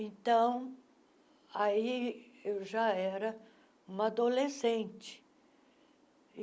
Então, aí eu já era uma adolescente.